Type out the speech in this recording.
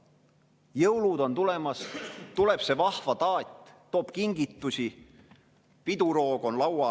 Jõulud on tulemas, tuleb see vahva taat, toob kingitusi, piduroog on laual.